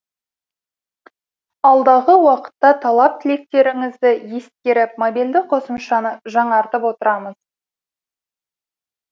алдағы уақытта талап тілектеріңізді ескеріп мобильді қосымшаны жаңартып отырамыз